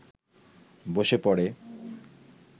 বসে পড়ে